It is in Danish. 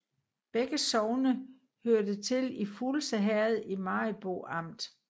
Begge sogne hørte til Fuglse Herred i Maribo Amt